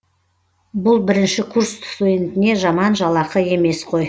бұл бірінші курс студентіне жаман жалақы емес қой